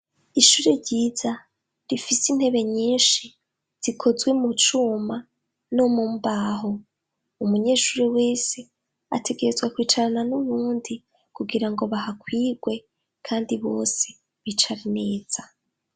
Ishuri ryiza rifise intebe nyinshi zikozwe mucuma no mumbaho. Umunyeshuri wese ategerezwa kwicarana n'uwundi kugira ngo bahakwigwe kandi bose bicara neza.